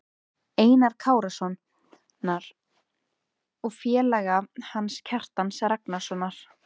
Einars Kárasonar, og félaga hans, Kjartans Ragnarssonar.